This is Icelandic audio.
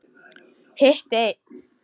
Hitti einn.